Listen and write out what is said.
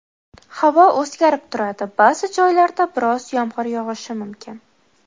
Havo o‘zgarib turadi, ba’zi joylarda biroz yomg‘ir yog‘ishi mumkin.